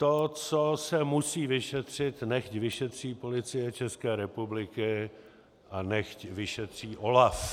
To, co se musí vyšetřit, nechť vyšetří Policie České republiky a nechť vyšetří OLAF.